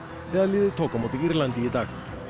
þegar liðið tók á móti Írlandi í dag